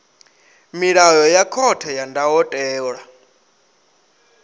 milayo ya khothe ya ndayotewa